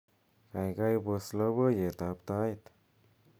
gaigai pos loboiyet ab tait